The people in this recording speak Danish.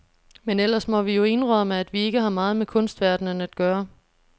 Men ellers må vi jo indrømme, at vi ikke har meget med kunstverdenen at gøre.